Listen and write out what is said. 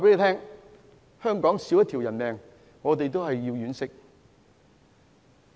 香港少一條人命，我們都要惋惜。